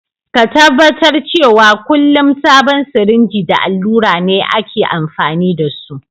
Ka tabatar cewa kullum sabon sirinji da allura ne aka amfani da su.